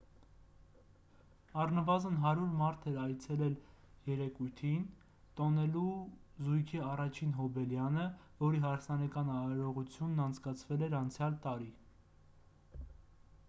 առնվազն 100 մարդ էր այցելել երեկույթին տոնելու զույգի առաջին հոբելյանը որի հարսանեկան արարողությունն անցկացվել էր անցյալ տարի